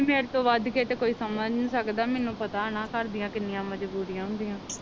ਮੇਰੇ ਤੋਂ ਵੱਧ ਕੇ ਤਾ ਕੋਈ ਸਮਜ ਨੀ ਸਕਦਾ ਮੈਨੂੰ ਪਤਾ ਨਾ ਘਰ ਦੀਆ ਕੀਨੀਆ ਮਜਬੂਰੀਆਂ ਹੁੰਦੀਆਂ